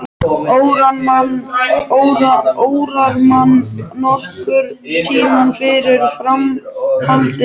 Órar mann nokkurn tímann fyrir framhaldinu.